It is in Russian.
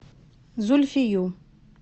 зульфию